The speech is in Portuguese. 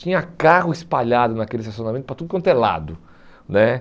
Tinha carro espalhado naquele estacionamento para tudo quanto é lado né.